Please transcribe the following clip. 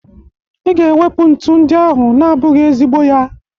I ga-ewepu ntu ndị ahụ na-abụghị ezigbo ya!